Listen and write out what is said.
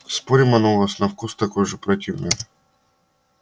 спорим оно у вас на вкус такое же противное